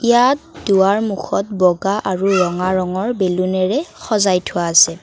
ইয়াত দুৱাৰ মুখত বগা আৰু ৰঙা ৰঙৰ বেলুনেৰে সজাই থোৱা আছে।